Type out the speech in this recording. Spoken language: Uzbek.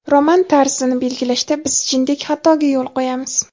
"Roman" tarzini belgilashda biz jindek xatoga yo‘l qo‘yamiz.